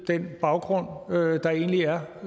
den baggrund der egentlig er